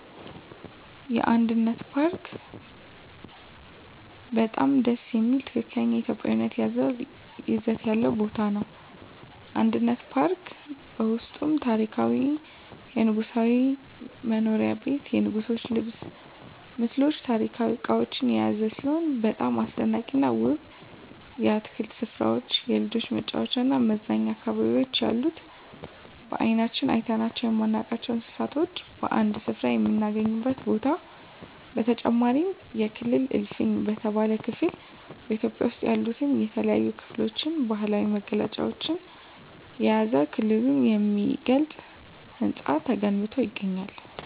አንድነት ፓርክ በጣም ደስ የሚል ትክክለኛ ኢትዮጵያዊ ይዘት ያለው ቦታ ነው። አንድነት ፓርክ በውስጡም ታሪካዊ የንጉሣዊ መኖሪያ ቤት የንጉሥች ልብስ ምስሎች ታሪካዊ እቃዎች የያዘ ሲሆን በጣም አስደናቂና ውብ የአትክልት ስፍራዎች የልጆች መጫወቻና መዝናኛ አካባቢዎች ያሉት በአይናችን አይተናቸው የማናውቃቸውን እንስሳቶች በአንድ ስፍራ የምናገኝበት ቦታ በተጨማሪም የክልል እልፍኝ በተባለው ክፍል በኢትዮጵያ ውስጥ ያሉትን የተለያዩ ክልሎች ባህላዊ መገለጫዎችን የያዘ ክልሉን የሚገልጽ ህንፃ ተገንብቶ ይገኛል።